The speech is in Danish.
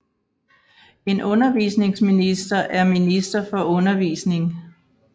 En undervisningsminister er minister for undervisning